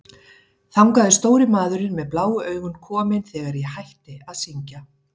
Þangað er stóri maðurinn með bláu augun kominn þegar ég hætti að syngja.